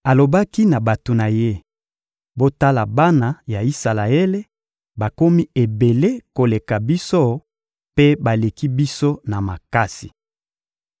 Alobaki na bato na ye: «Botala bana ya Isalaele, bakomi ebele koleka biso mpe baleki biso na makasi.